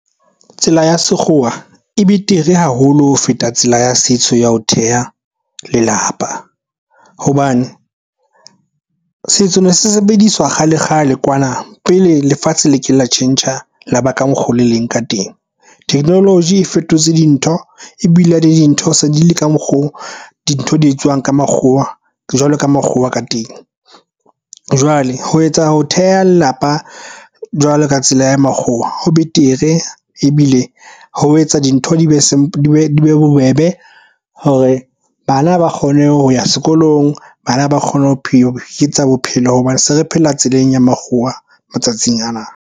Tsela ya sekgowa e betere haholo ho feta tsela ya setso ya ho theha lelapa. Hobane setso ne se sebediswa kgale kgale kwana pele lefatshe le ke lo tjhentjha laba ka mokgo le leng ka teng. Technology e fetotse dintho e bile le dintho se di le ka mokgo. Dintho di etswang ka makgowa jwalo ka makgowa ka teng. Jwale ho etsa ho theha lelapa jwalo ka tsela ya makgowa, ho betere ebile ho etsa dintho di be bobebe hore bana ba kgone ho ya sekolong, bana ba kgone ho phela bophelo hobane se re phela tseleng ya makgowa matsatsing ana.